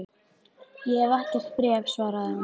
Ég hef ekkert bréf, svaraði hann.